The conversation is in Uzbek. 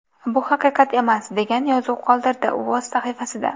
Bu haqiqat emas”, degan yozuv qoldirdi u o‘z sahifasida.